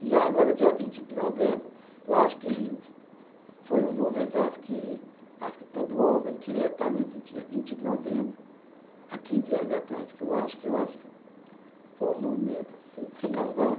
Já agora, dia vinte de novembro, eu acho que foi um momento, eu acho que, acho que todo homem queria estar nesse dia, vinte de novembro, há quinze anos atrás, porque eu acho que eu acho, foi um momento assim que. Você casou?